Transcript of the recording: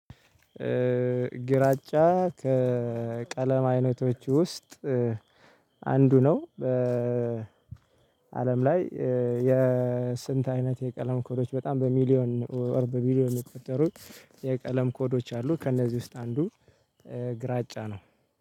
ግራጫ ከቀለም አይነቶች ውስጥ አንዱ ነው። በአለም ላይ የስንት አይነት የቀለም ኮዶች በጣም በሚሊዮን ኦር ቢሊዮን የሚቆጠሩት የቀለም ኮዶች አሉ። ከእነዚህ ውስጥ አንዱ ግራጫ ነው።